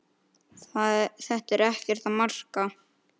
Þetta er ekkert að marka.